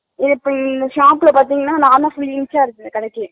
நீங்க இப்ப இந்த shop ல பாத்திங்கனா நான்தா full incharge கடைக்கு